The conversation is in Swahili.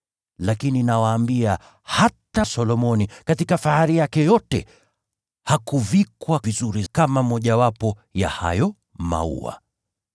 Lakini nawaambia, hata Solomoni katika fahari yake yote hakuvikwa vizuri kama mojawapo ya hayo maua.